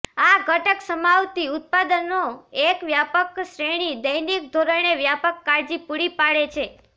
આ ઘટક સમાવતી ઉત્પાદનો એક વ્યાપક શ્રેણી દૈનિક ધોરણે વ્યાપક કાળજી પૂરી પાડે છે